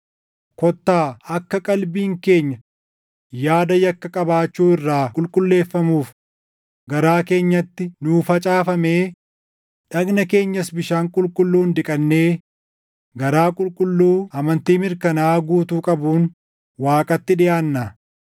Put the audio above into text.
kottaa akka qalbiin keenya yaada yakka qabaachuu irraa qulqulleeffamuuf garaa keenyatti nuu facaafamee, dhagna keenyas bishaan qulqulluun dhiqannee garaa qulqulluu amantii mirkanaaʼaa guutuu qabuun Waaqatti dhiʼaannaa.